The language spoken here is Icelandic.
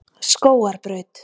Skógarbraut